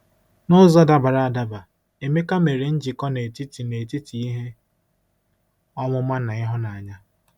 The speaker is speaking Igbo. N'ụzọ dabara adaba, Emeka mere njikọ n'etiti n'etiti ihe ọmụma na ịhụnanya.